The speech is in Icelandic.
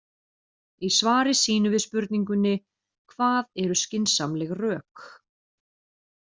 Í svari sínu við spurningunni Hvað eru skynsamleg rök?